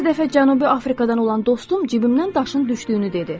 Bir dəfə Cənubi Afrikadan olan dostum cibimdən daşın düşdüyünü dedi.